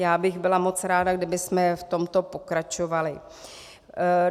Já bych byla moc ráda, kdybychom v tomto pokračovali.